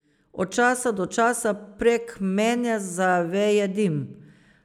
Od časa do časa prek mene zaveje dim.